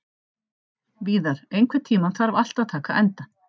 Víðar, einhvern tímann þarf allt að taka enda.